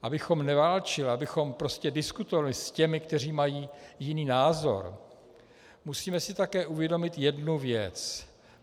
Abychom neválčili, abychom prostě diskutovali s těmi, kteří mají jiný názor, musíme si také uvědomit jednu věc.